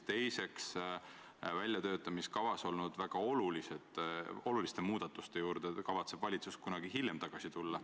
Teiseks, väljatöötamiskavas olnud väga oluliste muudatuste juurde kavatseb valitsus kunagi hiljem tulla.